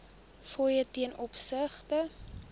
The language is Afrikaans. fooie ten opsigte